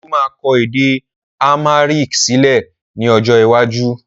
Olú máa kọ èdè amharic sílẹ̀ ni ọjọ́ iwájú